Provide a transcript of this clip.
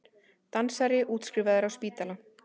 Dansari útskrifaður af spítala